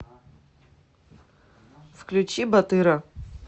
включи батыра